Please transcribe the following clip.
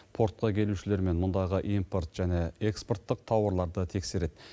портқа келушілермен мұндағы импорт және экспорттық тауарларды тексереді